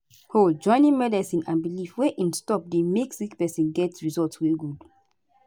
hold - joining medicine and belief wey em stop dey make sick pesin get result wey good